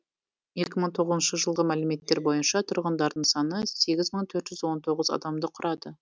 екі мың тоғызыншы жылғы мәліметтер бойынша тұрғындардың саны сегіз мың төрт жүз он тоғыз адамды құрады